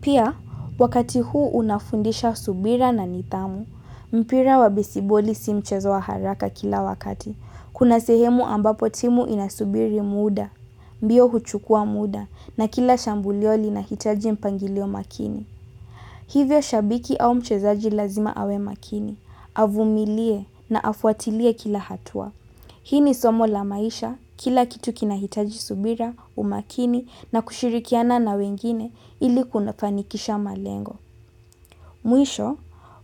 Pia, wakati huu unafundisha subira na nidhamu. Mpira wa besiboli si mchezo wa haraka kila wakati. Kuna sehemu ambapo timu inasubiri muda, mbio huchukua muda na kila shambulio linahitaji mpangilio makini. Hivyo shabiki au mchezaji lazima awe makini, avumilie na afuatilie kila hatua. Hii ni somo la maisha kila kitu kinahitaji subira, umakini na kushirikiana na wengine ili kufanikisha malengo. Mwisho,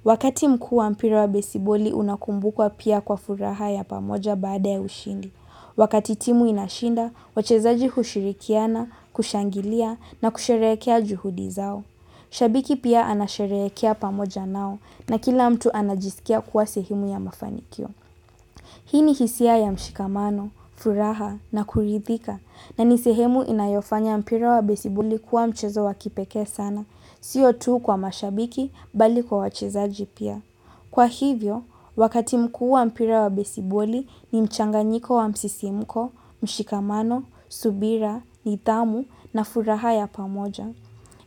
wakati mkuu wa mpira wa besiboli unakumbukwa pia kwa furaha ya pamoja baada ya ushindi. Wakati timu inashinda, wachezaji hushirikiana, kushangilia na kusherekea juhudi zao. Shabiki pia anasherekea pamoja nao na kila mtu anajisikia kwa sehemu ya mafanikio. Hii ni hisia ya mshikamano, furaha na kuridhika na ni sehemu inayofanya mpira wa besiboli kuwa mchezo wa kipekee sana. Sio tu kwa mashabiki bali kwa wachezaji pia. Kwa hivyo, wakati mkuu wa mpira wa besiboli ni mchanganyiko wa msisimko, mshikamano, subira, nidhamu na furaha ya pamoja.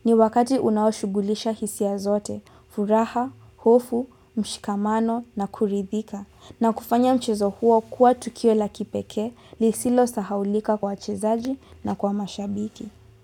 Ni wakati unaoshugulisha hisia zote, furaha, hofu, mshikamano na kuridhika. Na kufanya mchezo huo kuwa tukio la kipekee lisilosahaulika kwa wachezaji na kwa mashabiki.